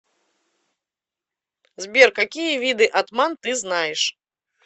сбер какие виды атман ты знаешь